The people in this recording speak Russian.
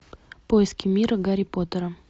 поиски мира гарри поттера